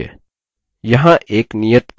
यहाँ एक नियत कार्य है: